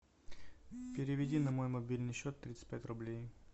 переведи на мой мобильный счет тридцать пять рублей